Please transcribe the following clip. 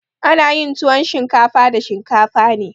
Ana yin tuwon shinkafa da shinkafa ne.